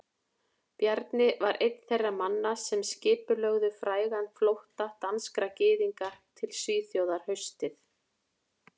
Bjarni var einn þeirra manna sem skipulögðu frægan flótta danskra gyðinga til Svíþjóðar haustið